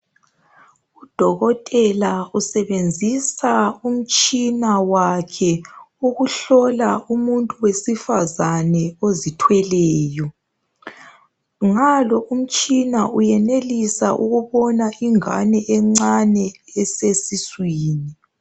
Udokotela usebenzisa umtshina wakhe ukuhlola umuntu wesifazana ozithweleyo. Ngalo umtshina, uyenelisa ukubona ingane encane, esesiswini.